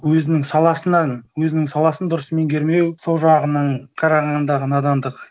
өзінің саласынан өзінің саласын дұрыс меңгермеу сол жағынан қарағандағы надандық